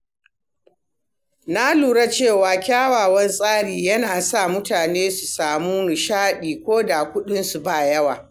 Na lura cewa kyakkyawan tsari yana sa mutane su samu nishaɗi koda kuɗinsu babu yawa.